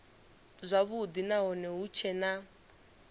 zwavhudi nahone hu tshee na